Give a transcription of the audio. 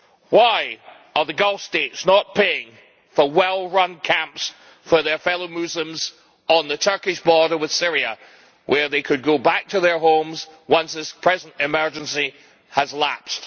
Why are the Gulf States not paying for well run camps for their fellow Muslims on the Turkish border with Syria, where they could go back to their homes once this present emergency has lapsed?